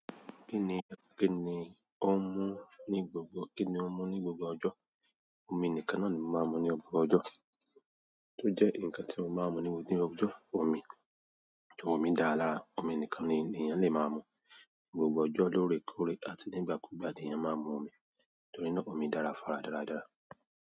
Kí ni, kí ni ó mú ní gbogbo, kíni ó mú ní gbogbo ọjọ́? Omi nìkan náà ni mo máa ń mu ní gbogbo ọjọ́. Tó jẹ́ ǹkan tí mo máa ń mu ní gbogbo ọjọ́, omi. Omi dára lára, omi nìkan ni ènìyàn lè máa mú. Gbogbo ọjọ́ lore kore àti ní ìgbà kú ìgbà ni èyàn máa ń mu omi. Torí náà omi dára, fara dáradára.